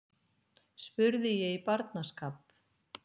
spurði ég í barnaskap.